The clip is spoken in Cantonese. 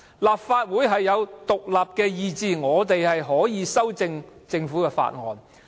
立法會有獨立意志，議員可以修訂政府的法案。